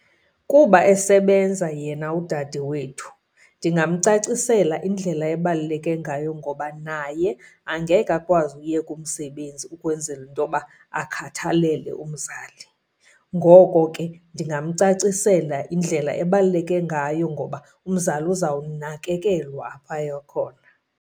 Kuba esebenza yena udade wethu ndingamcacisela indlela ebaluleke ngayo, ngoba naye angeke akwazi uyeka umsebenzi ukwenzela into yoba akhathalele umzali. Ngoko ke ndingamcacisela indlela ebaluleke ngayo, ngoba umzali uzawunakekelwa apho aya khona.